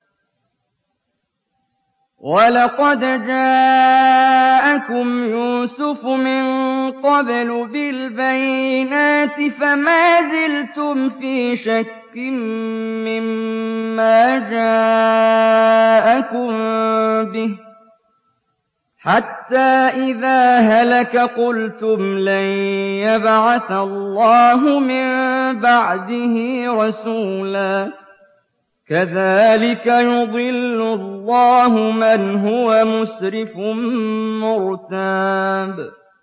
وَلَقَدْ جَاءَكُمْ يُوسُفُ مِن قَبْلُ بِالْبَيِّنَاتِ فَمَا زِلْتُمْ فِي شَكٍّ مِّمَّا جَاءَكُم بِهِ ۖ حَتَّىٰ إِذَا هَلَكَ قُلْتُمْ لَن يَبْعَثَ اللَّهُ مِن بَعْدِهِ رَسُولًا ۚ كَذَٰلِكَ يُضِلُّ اللَّهُ مَنْ هُوَ مُسْرِفٌ مُّرْتَابٌ